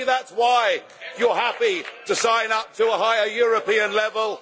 And maybe that is why you are happy to sign up to a higher European level.